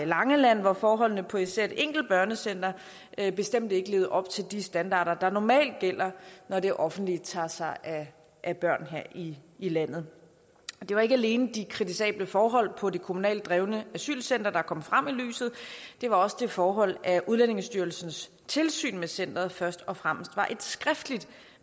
langeland hvor forholdene på især et enkelt børnecenter bestemt ikke levede op til de standarder der normalt gælder når det offentlige tager sig af børn her i i landet det var ikke alene de kritisable forhold på det kommunalt drevne asylcenter der kom frem i lyset men også det forhold at udlændingestyrelsens tilsyn med centeret først og fremmest var et skriftligt